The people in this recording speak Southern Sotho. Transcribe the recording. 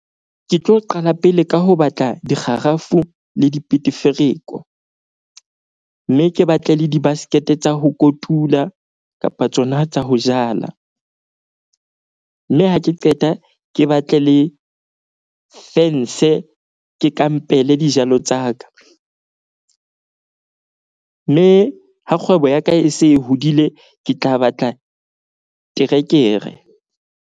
Ke tlo qala pele ka ho batla dikgarafu le dipetefereko. Mme ke batle le di-basket-e tsa ho kotula kapa tsona tsa ho jala. Mme ha ke qeta ke batle le fence, ke kampele dijalo tsa ka. Mme ha kgwebo ya ka e se e hodile, ke tla batla terekere.